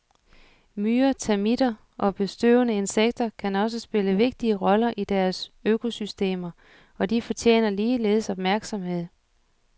Myrer, termitter og bestøvende insekter kan også spille vigtige roller i deres økosystemer, og de fortjener ligeledes opmærksomhed.